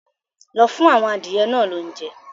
Lọ fún àwọn adìyẹ náà lóúnjẹ!